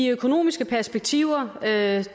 økonomiske perspektiver